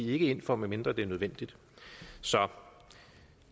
ikke ind for medmindre det er nødvendigt så